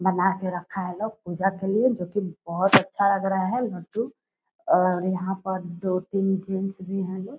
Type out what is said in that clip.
बना के रखा है लोग पूजा के लिए जो की बहुत अच्छा लग रहा है लड्डू और यहाँ पर दो तीन जेंट्स भी हैं लोग।